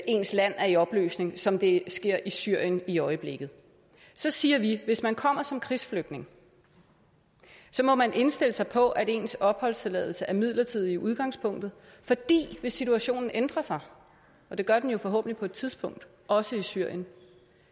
ens land er i opløsning som det sker i syrien i øjeblikket så siger vi at hvis man kommer som krigsflygtning må man indstille sig på at ens opholdstilladelse er midlertidig i udgangspunktet fordi hvis situationen ændrer sig og det gør den jo forhåbentlig på et tidspunkt også i syrien